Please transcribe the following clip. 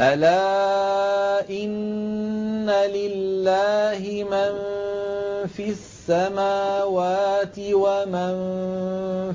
أَلَا إِنَّ لِلَّهِ مَن فِي السَّمَاوَاتِ وَمَن